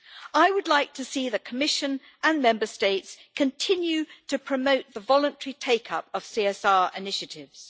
I would like to see the Commission and Member States continue to promote the voluntary take up of CSR initiatives.